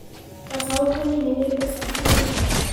Gacaũ kanini nĩ mbeca cigana.